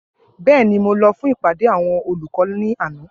Bẹẹni, Mo lọ fun ipade awọn olukọ ni ana.